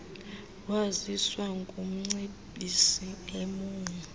waziswa ngumcebisi emou